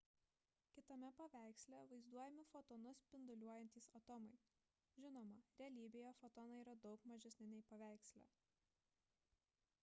kitame paveiksle vaizduojami fotonus spinduliuojantys atomai žinoma realybėje fotonai yra daug mažesni nei paveiksle